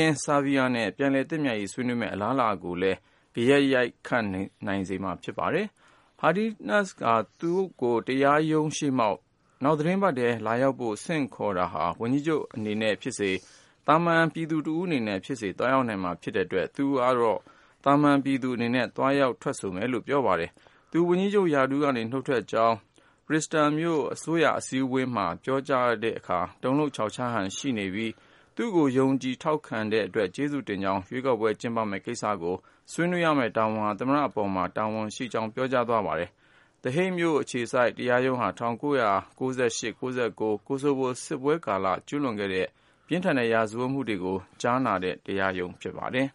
င်း ဆာဗီးယားနဲ့ ပြန်လည်သင့်မြတ်ရေး ဆွေးနွေးမယ့် အလားအလာကိုလည်း ဂယက် ရိုက်ခတ်နိုင်ပါတယ်။ Haradinaj က သူ့ကို တရာရုံးရှေ့မှောက် နောက်သီတင်းပတ်ထဲ လာရောက်ဖို့ ဆင့်ခေါ်တာဟာ ဝန်ကြီးချုပ်အနေနဲ့ ဖြစ်စေ၊ သာမန်ပြည်သူ တယောက် အနေနဲ့ဖြစ်စေ သွားရောက်နိုင်မှာ ဖြစ်တဲ့အတွက် သူကတော့ သာမန်ပြည်သူအနေနဲ့ သွားရောက်ထွက်ဆိုမယ်လို့ ပြောပါတယ်။ သူ ဝန်ကြီးချုပ်ရာထူးက နုတ်ထွက်ကြောင်း Pristina မြို့ အစိုးရအစည်းအဝေးမှာ ပြောကြားတဲ့အခါ တုန်လှုပ်ခြောက်ခြားဟန် ရှိနေပြီး သူ့ကိုယုံကြည် ထောက်ခံခဲ့တဲ့အတွက် ကျေးဇူးတင်ကြောင်း၊ ရွေးကောက်ပွဲ ကျင်းပမယ့် ကိစ္စကို ဆွေးနွေးရမယ့် တာဝန်ဟာ သမ္မတအပေါ်မှာ တာဝန်ရှိကြောင်း ပြောကြား သွားပါတယ်။ The Hague မြို့အခြေစိုက် တရားရုံးဟာ ၁၉၉၈-၉၉ Kosovo စစ်ပွဲကာလ ကျူးလွန်ခဲ့တဲ့ ပြင်းထန်တဲ့ ရာဇဝတ်မှုတွေကို ကြားနာတဲ့ တရားရုံးဖြစ်ပါတယ်